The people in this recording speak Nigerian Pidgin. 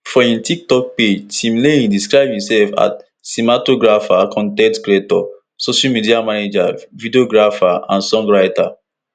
for im tiktok page timileyin describe imsef as cinematographer con ten t creator social media manager videographer and song writer